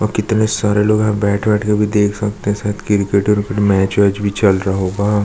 ओ कितने सारे लोग यहाँ बैठ वैठ के भी देख सकते है शायद क्रिकेट उरिकेट मैच वेच भी चल रहा होगा।